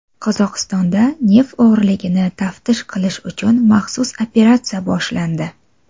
Qozog‘istonda neft o‘g‘riligini taftish qilish uchun maxsus operatsiya boshlandi.